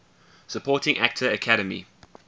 supporting actor academy